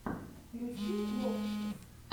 включи локси